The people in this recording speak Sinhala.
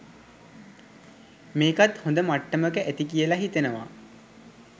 මේකත් හොඳ මට්ටමක ඇති කියල හිතෙනවා.